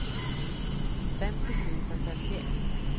femtio tusen femtioett